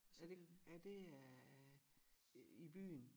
Er det er det øh i byen